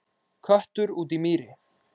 Köttur út í mýri